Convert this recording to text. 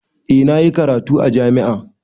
Eh na yi karatu a jami'a.